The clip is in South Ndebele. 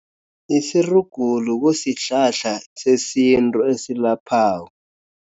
Isirugulu kusihlahla sesintu esilaphako.